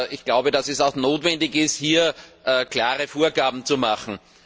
Ich glaube, dass es auch notwendig ist, hier klare Vorgaben zu machen.